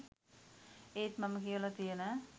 ඒත් මම කියවලා තියන